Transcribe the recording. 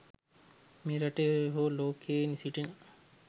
මේ රටේ හෝ ලෝකයේ සිටින